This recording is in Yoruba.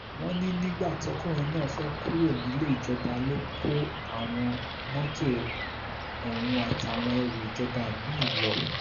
wọ́n ní nígbà tí ọkùnrin náà fẹ́ẹ́ kúrò níléejọba ló kó àwọn mọ́tò ọ̀hún àtàwọn ẹrù ìjọba mi-ín lọ